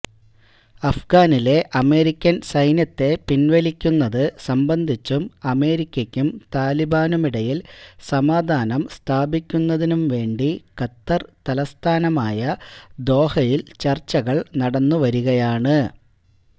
അഫ്ഗാനിലെ അമേരിക്കന് സൈന്യത്തെ പിന്വലിക്കുന്നത് സംബന്ധിച്ചും അമേരിക്കക്കും താലിബാനുമിടയില് സമാധാനം സ്ഥാപിക്കുന്നതിനും വേണ്ടി ഖത്തര് തലസ്ഥാനമായ ദോഹയില് ചര്ച്ചകള് നടന്നുവരികയാണ്